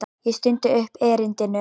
Ég stundi upp erindinu.